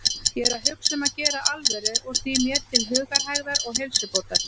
Ég er að hugsa um að gera alvöru úr því mér til hugarhægðar og heilsubótar.